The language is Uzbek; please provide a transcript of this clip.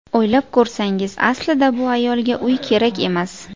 O‘ylab ko‘rsangiz, aslida bu ayolga uy kerak emas.